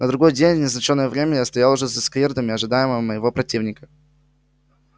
на другой день в назначенное время я стоял уже за скирдами ожидая моего противника